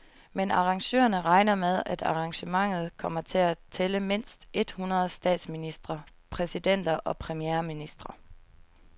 Men arrangørerne regner med, at arrangementet kommer til at tælle mindst et hundrede statsministre, præsidenter og premierministre.